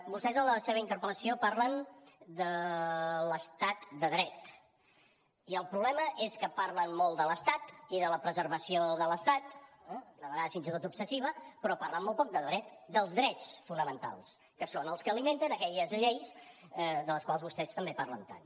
vostès en la seva interpel·lació parlen de l’estat de dret i el problema és que parlen molt de l’estat i de la preservació de l’estat de vegades fins i tot obsessiva però parlen molt poc del dret dels drets fonamentals que són els que alimenten aquelles lleis de les quals vostès també parlen tant